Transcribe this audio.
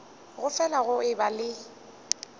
go fele go eba le